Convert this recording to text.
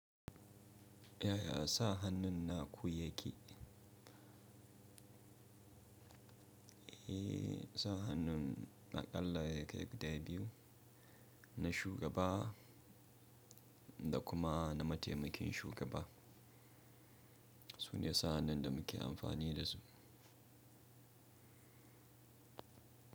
Yaya sa hannun naku yake? Eh, sa hannun a Aƙalla yakai guda biyu, na shugaba da kuma na mataimakin shugaba. Sune sa hannun da muke amfani da su.